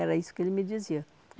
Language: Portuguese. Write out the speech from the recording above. Era isso que ele me dizia.